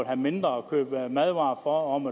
har mindre at købe madvarer for om